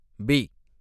B